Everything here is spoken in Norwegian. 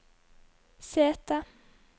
sete